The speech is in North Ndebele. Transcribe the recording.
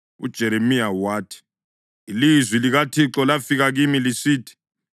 UJeremiya wathi, “Ilizwi likaThixo lafika kimi lisithi: